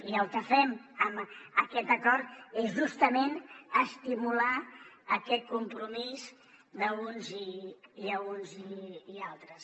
i el que fem amb aquest acord és justament estimular aquest compromís d’uns i altres